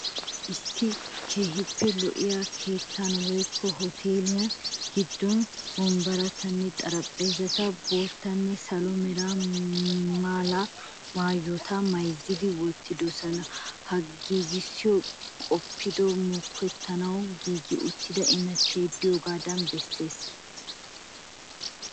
Issi keehiippe lo'iya keettaa woykko utteele gidon wombbarattanne xaraphpheezzata boottanne salo mera mala maayota mayzzidi wottidosona. Ha giigisoy qoppiyode moketanawu giigi uttida immati diyoogaadan bessees.